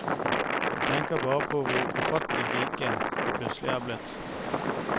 De tenker bare på hvor ufattelig rike de plutselig er blitt.